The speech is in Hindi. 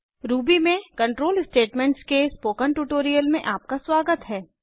रूबी में कंट्रोल स्टेटमेंट्स के स्पोकन ट्यूटोरियल में आपका स्वागत है